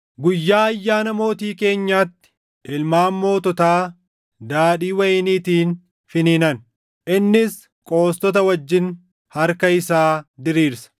Guyyaa ayyaana mootii keenyaatti ilmaan moototaa daadhii wayiniitiin finiinan; innis qoostota wajjin harka isaa diriirsa.